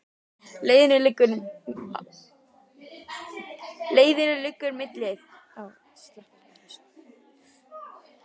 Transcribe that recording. Leiðin liggur milli Þórsmerkur og Landmannalauga.